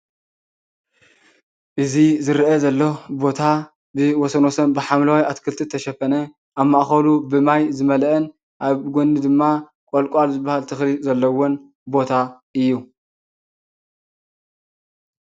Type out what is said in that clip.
እዚ ዝርአ ዘሎ ቦታ ብወሰን ወሰን ብሓምለዋይ ኣትክልቲ ዝተሸፈነ ኣብ ማእኸሉ ብማይ ዝመልአን ኣብ ጎኒ ድማ ቆልቋል ዝበሃል ተኽሊ ዘለዎን ቦታ እዩ